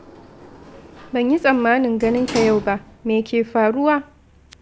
Ban yi tsammanin ganin ka yau ba, me ke faruwa?